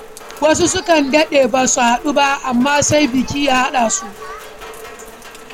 Wasu sukan daɗe ba su haɗu ba, amma sai biki ya haɗa su.